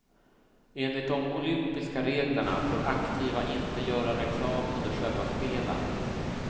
Enligt de olympiska reglerna får aktiva inte göra reklam under själva spelen.